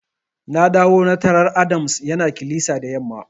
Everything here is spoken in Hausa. Na dawo na tarar Adams yana kilisa da yamma.